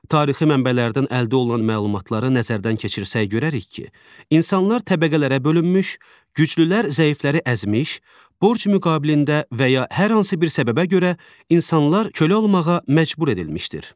Tarixi mənbələrdən əldə olunan məlumatlara nəzərdən keçirsək görərik ki, insanlar təbəqələrə bölünmüş, güclülər zəifləri əzmiş, borc müqabilində və ya hər hansı bir səbəbə görə insanlar kölə olmağa məcbur edilmişdir.